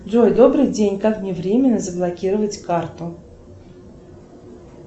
джой добрый день как мне временно заблокировать карту